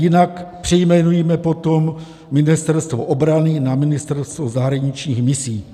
Jinak přejmenujme potom Ministerstvo obrany na Ministerstvo zahraničních misí.